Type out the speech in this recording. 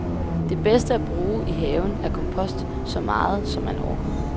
Det bedste at bruge i haven er kompost, så meget, som man orker.